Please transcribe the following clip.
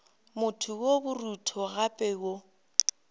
motho yo borutho gape yo